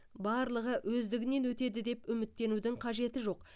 барлығы өздігінен өтеді деп үміттенудің қажеті жоқ